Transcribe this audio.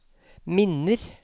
minner